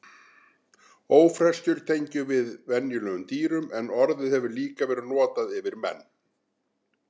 Ófreskjur tengjum við venjulega dýrum en orðið hefur líka verið notað yfir menn.